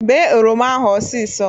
Bee oroma ahụ ọsisọ